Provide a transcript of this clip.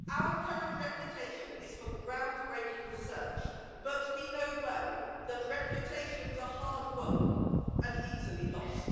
Our current reputation is for ground breaking research, but we know well that reputations are hard won and easily lost.